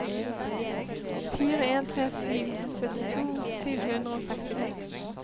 fire en tre sju syttito sju hundre og sekstito